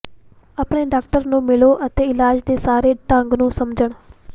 ਆਪਣੇ ਡਾਕਟਰ ਨੂੰ ਮਿਲੋ ਅਤੇ ਇਲਾਜ ਦੇ ਸਾਰੇ ਢੰਗ ਨੂੰ ਸਮਝਣ